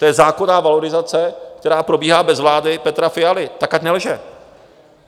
To je zákonná valorizace, která probíhá bez vlády Petra Fialy, tak ať nelže.